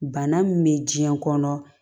Bana min bɛ diɲɛ kɔnɔ